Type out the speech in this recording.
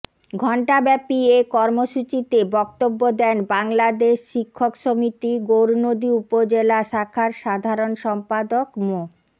ঘন্ট্যাব্যাপী এ কর্মসূচিতে বক্তব্য দেন বাংলাদেশ শিক্ষক সমিতি গৌরনদী উপজেলা শাখার সাধারণ সম্পাদক মো